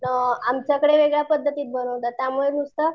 आमच्याकडे वेगळ्या पद्धतीत बनवतात त्यामुळे नुसतं